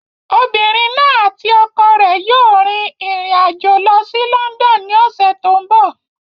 Obìnrin náà àti ọkọ rẹ̀ yóò rin ìrìn àjò lọ sí London ní ọ̀sẹ̀ tó ń bọ̀.